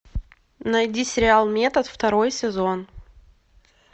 найди сериал метод второй сезон